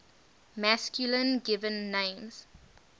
masculine given names